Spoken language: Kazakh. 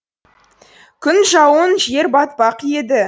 күн жауын жер батпақ еді